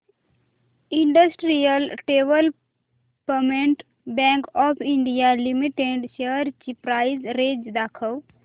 industrial development bank of India limited shares ची price range दाखव